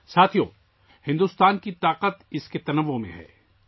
دوستو، بھارت کی قوت اس کے تنوع میں پنہاں ہے